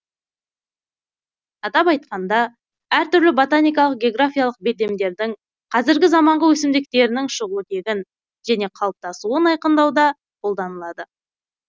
атап айтқаңда әр түрлі ботаникалық географиялық белдемдердің қазіргі заманғы өсімдіктерінің шығу тегін және қалыптасуын айқындауда қолданылады